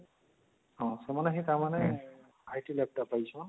ହଁ ସେମାନେ ହିଁ ତାମାନେ IT lab ଟା କରିଛନ